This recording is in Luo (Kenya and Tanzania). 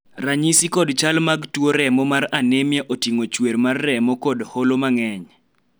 ranyisi kod chal mag tuo remo mar anemia oting'o chuer mar remo kod holo mang'eny